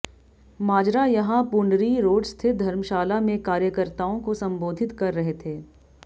माजरा यहां पूंडरी रोड स्थित धर्मशाला में कार्यकर्ताओं को संबोधित कर रहे थे